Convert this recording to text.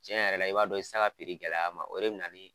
Cɛn yɛrɛ la, i b'a dɔn i ti se ka gɛlɛya a ma o de bina ni